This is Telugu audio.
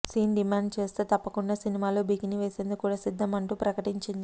సీన్ డిమాండ్ చేస్తే తప్పకుండా సినిమాలో బికిని వేసేందుకు కూడా సిద్దం అంటూ ప్రకటించింది